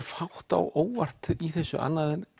fátt á óvart í þessu annað en